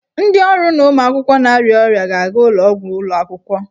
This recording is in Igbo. Ndị ọrụ na ụmụ akwụkwọ na-arịa ọrịa ga-aga ụlọ ọgwụ ụlọ akwụkwọ.